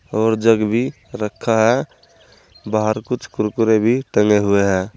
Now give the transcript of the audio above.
और जग भी रखा है बाहर कुछ कुरकुरे भी टंगे हुए हैं।